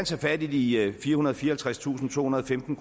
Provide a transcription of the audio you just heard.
tage fat i de firehundrede og fireoghalvtredstusindtohundrede og femten